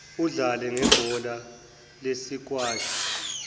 udlale ngebhola lesikwashi